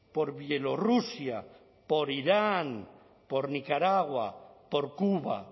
por bielorrusia por iran por nicaragua por cuba